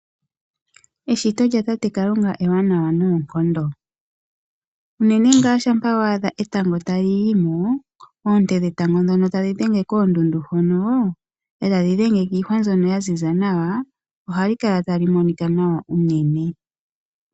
Eshito lyatate Kalunga ewanawa noonkondo, unene tuu shampa wa adha etango tali yi mo, oonte dhetango ndhono tadhi dhenge koondundu hono e tadhi dhenge kiihwa mbyono ya ziza nawa ohali kala tali monika nawa unene.